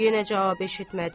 Yenə cavab eşitmədi.